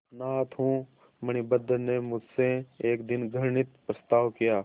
अनाथ हूँ मणिभद्र ने मुझसे एक दिन घृणित प्रस्ताव किया